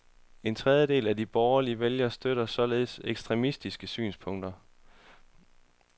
En tredjedel af de borgerlige vælgere støtter således ekstremistiske synspunkter.